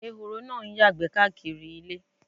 Ẹ̀họ̀rọ̀ náá ǹ yàgbé kàkírí ayíká ilẹ̀.